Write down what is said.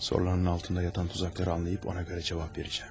Soruların altında yatan tuzakları anlayıb ona görə cavab verəcəm.